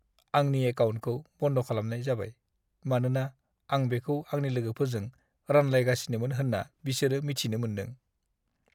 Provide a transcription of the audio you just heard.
आंनि एकाउन्टखौ बन्द' खालामनाय जाबाय मानोना आं बेखौ आंनि लोगोफोरजों रानलायगासिनोमोन होन्ना बिसोरो मिथिनो मोन्दों।